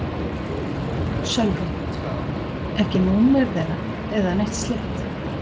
Sölvi: Ekki númer þeirra eða neitt slíkt?